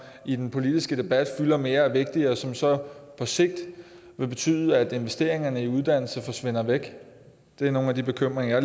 i den politiske debat fylder mere og er vigtigere og som så på sigt vil betyde at investeringerne i uddannelse forsvinder væk det er nogle af de bekymringer